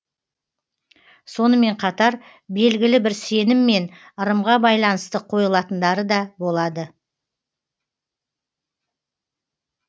сонымен қатар белгілі бір сенім мен ырымға байланысты қойылатындары да болады